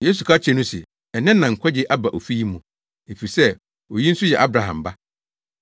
Yesu ka kyerɛɛ no se, “Nnɛ na nkwagye aba ofi yi mu, efisɛ oyi nso yɛ Abraham ba.